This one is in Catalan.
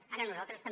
ara nosaltres també